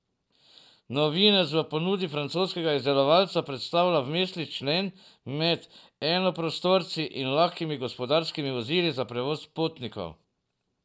Novinec v ponudbi francoskega izdelovalca predstavlja vmesni člen med enoprostorci in lahkimi gospodarskimi vozili za prevoz potnikov.